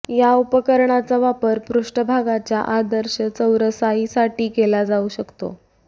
या उपकरणाचा वापर पृष्ठभागाच्या आदर्श चौरसाईसाठी केला जाऊ शकतो